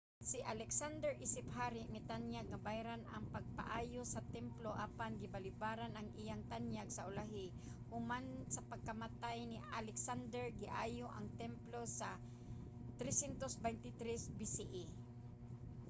si alexander isip hari mitanyag nga bayran ang pagpaayo sa templo apan gibalibaran ang iyang tanyag. sa ulahi human sa pagkamatay ni alexander giayo ang templo sa 323 bce